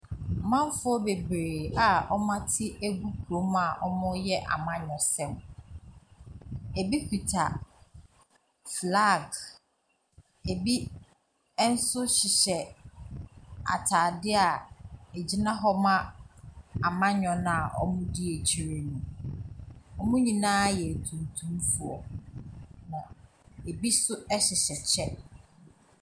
Amanfoɔ bebree a ɔmo ate agu kurom a ɔmo yɛ amanyɔsɛm. Ɛbi kita flaage, ɛbi ɛnso nhyehyɛ ataade a ɛgyina hɔ ma amanyɔ kuo no a ɔmo di akyire no. Ɔmo nyinaa yɛ atuntumfoɔ na ɛbi nso ɛhyehyɛ ɛkyɛ.